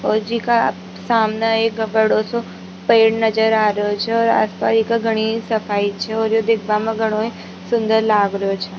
और जीका सामने एक बड़ो सा पेड़ नजर आ रेहो छह और आस पास ईका घणी सफाई छह और ये देखबा मा घणो सुन्दर लाग रेहो छह।